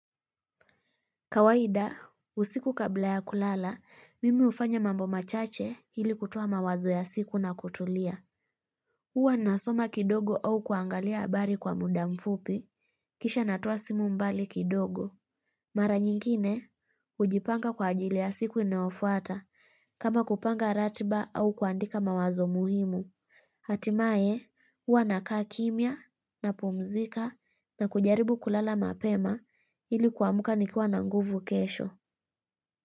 Kawaida, usiku kabla ya kulala, mimi ufanya mambo machache ili kutuwa mawazo ya siku na kutulia. Uwa nasoma kidogo au kuangalia abari kwa muda mfupi, kisha natuwa simu mbali kidogo. Mara nyingine, ujipanga kwa ajili ya siku inoofuata, kama kupanga ratiba au kuandika mawazo muhimu. Hatimae, uwa nakaa kimya na pumzika na kujaribu kulala mapema ili kwa muka nikua na nguvu kesho.